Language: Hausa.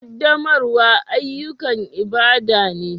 Ƙaddamarwa ayyukan ibada ne